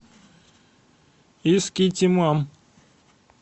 искитимом